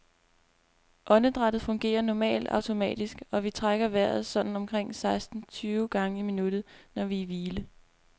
Åndedrættet fungerer normalt automatisk, og vi trækker vejret sådan omkring seksten tyve gange i minuttet, når vi er i hvile.